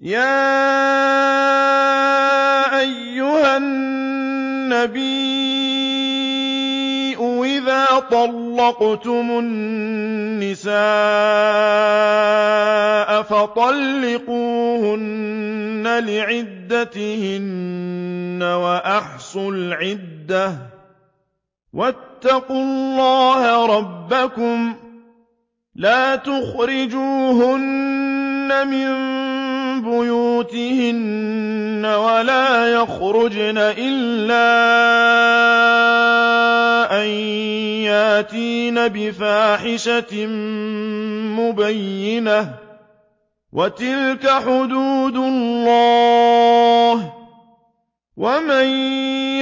يَا أَيُّهَا النَّبِيُّ إِذَا طَلَّقْتُمُ النِّسَاءَ فَطَلِّقُوهُنَّ لِعِدَّتِهِنَّ وَأَحْصُوا الْعِدَّةَ ۖ وَاتَّقُوا اللَّهَ رَبَّكُمْ ۖ لَا تُخْرِجُوهُنَّ مِن بُيُوتِهِنَّ وَلَا يَخْرُجْنَ إِلَّا أَن يَأْتِينَ بِفَاحِشَةٍ مُّبَيِّنَةٍ ۚ وَتِلْكَ حُدُودُ اللَّهِ ۚ وَمَن